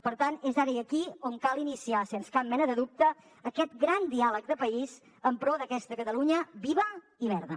per tant és ara i aquí on cal iniciar sens cap mena de dubte aquest gran diàleg de país en pro d’aquesta catalunya viva i verda